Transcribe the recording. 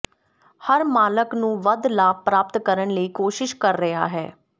ਹਰ ਮਾਲਕ ਨੂੰ ਵੱਧ ਲਾਭ ਪ੍ਰਾਪਤ ਕਰਨ ਲਈ ਕੋਸ਼ਿਸ਼ ਕਰ ਰਿਹਾ ਹੈ